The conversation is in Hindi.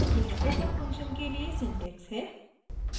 यह ओपन फंक्शन के लिए सिंटेक्स है